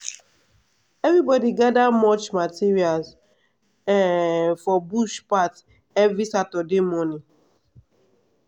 everybody dey gather mulch materials um for bush path every saturday morning.